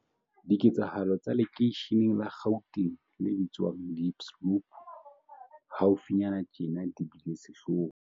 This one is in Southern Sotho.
Diketsahalo tsa lekeisheneng la Gauteng le bitswang Diepsloot haufinyane tjena di bile sehloho.